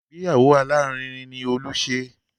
Ìgbéyàwó alárinrin ni Olú ṣe